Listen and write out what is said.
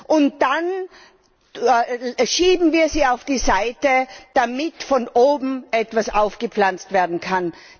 Und dann schieben wir sie auf die Seite, damit von oben etwas aufgepflanzt werden kann.